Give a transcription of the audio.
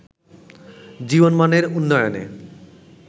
জীবনমানের উন্নয়নে